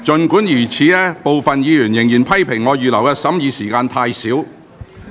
儘管如此，部分議員仍然批評我預留的審議時間太少。